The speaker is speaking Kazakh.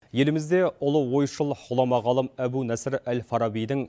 елімізде ұлы ойшыл ғұлама ғалым әбу насыр әл фарабидің